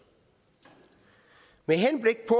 med henblik på